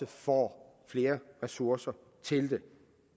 får flere ressourcer til det